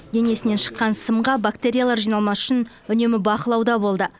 денесінен шыққан сымға бактериялар жиналмас үшін үнемі бақылауда болды